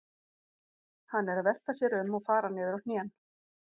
Hann er að velta sér um og fara niður á hnén.